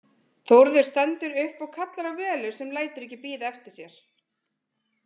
Þórður stendur upp og kallar á Völu sem lætur ekki bíða eftir sér.